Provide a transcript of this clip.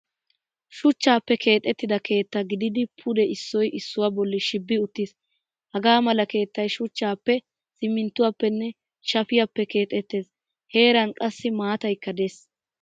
Shuchchappe keexettida keetta gididi pude issoy issuwaa bolli shibi uttiis. Hagaamala keettay shuchchappe siminttuwappenne shaafiyappe keexettees. Heran qassi maataaykka de'ees.